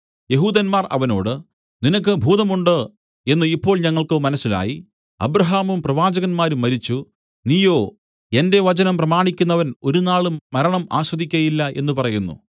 യെഹൂദന്മാർ അവനോട് നിനക്ക് ഭൂതം ഉണ്ട് എന്നു ഇപ്പോൾ ഞങ്ങൾക്കു മനസ്സിലായി അബ്രാഹാമും പ്രവാചകന്മാരും മരിച്ചു നീയോ എന്റെ വചനം പ്രമാണിക്കുന്നവൻ ഒരുനാളും മരണം ആസ്വദിക്കയില്ല എന്നു പറയുന്നു